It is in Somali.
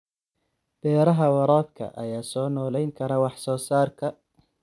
Beeraha waraabka ayaa soo noolayn kara wax soo saarka.